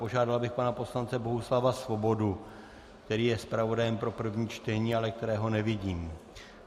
Požádal bych pana poslance Bohuslava Svobodu, který je zpravodajem pro první čtení, ale kterého nevidím.